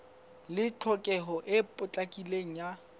le tlhokeho e potlakileng ya